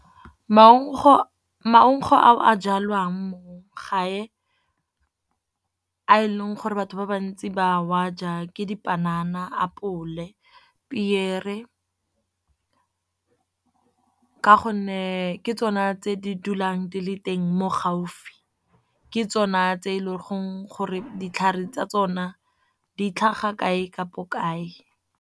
Maungo a o a jalwang mo gae a e leng gore batho ba bantsi ba wa ja ke dipanana, apole, piere. Ka gonne ke tsona tse di dulang di le teng mo gaufi, ke tsona tse e leng gore ditlhare tsa tsona di tlhaga kae kapo kae.